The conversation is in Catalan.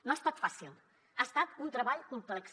no ha estat fàcil ha estat un treball complex